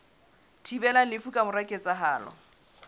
thibelang lefu ka mora ketsahalo